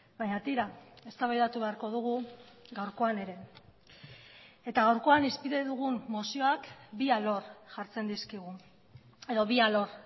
baina tira eztabaidatu beharko dugu gaurkoan ere eta gaurkoan hizpide dugun mozioak bi alor jartzen dizkigu edo bi alor